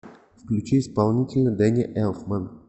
включи исполнителя дэнни элфман